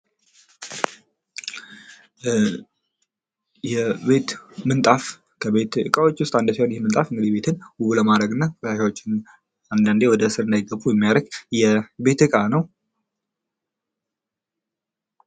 የቤት ምንጣፍ ከቤት ዕቃዎች ዉስጥ አንዱ ሲሆን ይሄ ምንጣፍ እንግዲህ ቤትን ዉብ ለማድረግ እና ቆሻሻዎችን አንዳንዴ ወደስር እንዳይገቡ የምያረግ የቤት ዕቃ ነው::